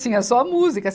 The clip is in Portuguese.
Tinha só música.